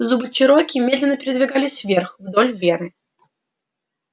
зубы чероки медленно передвигались вверх вдоль вены